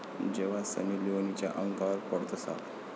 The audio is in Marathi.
जेव्हा सनी लिओनच्या अंगावर पडतो साप!